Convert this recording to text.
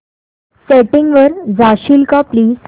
settings वर जाशील का प्लीज